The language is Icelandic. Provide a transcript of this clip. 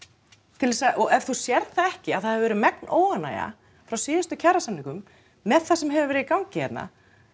til þess að og ef þú sérð það ekki að það hefur verið megn óánægja frá síðustu kjarasamningum með það sem hefur verið í gangi hérna